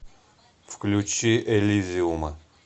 включи элизиума